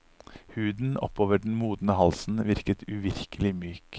Huden oppover den modne halsen virket uvirkelig myk.